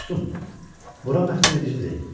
Dostum, bura məftunedicidir.